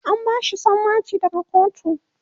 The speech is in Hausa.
an bashi sammaci daga kotu